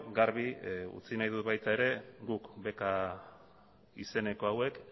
garbi utzi nahi dut ere guk beka izeneko hauek